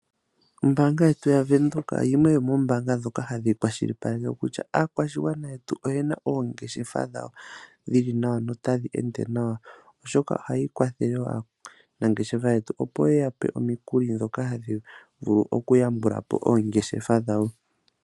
Ombaanga yetu ya Venduka yimwe yomoombanga ndhoka hadhi kwashilipaleke kutya aakwashigwana yetu oyena oongeshefa dhawo dhili nawa no tadhi ende nawa, oshoka ohayi kwathele aanangeshefa yetu opo yeya pe omikuli ndhoka hadhi vulu oku yambula po oongeshefa dhawo.